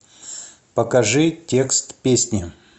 покажи текст песни